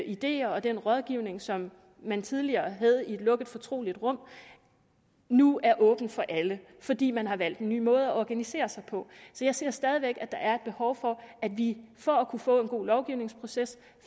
ideer og den rådgivning som man tidligere havde i et lukket fortroligt rum nu er åbne for alle fordi man har valgt en ny måde at organisere sig på så jeg ser stadig væk at der er et behov for at vi for at kunne få en god lovgivningsproces